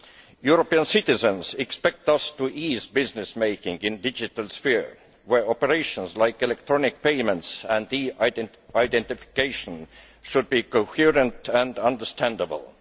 European citizens expect us to ease business making in the digital sphere where operations like electronic payments and e identification should be coherent and understandable.